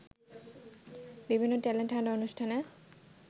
বিভিন্ন talent hunt অনুষ্ঠানে